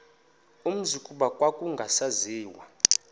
umzi kuba kwakungasaziwa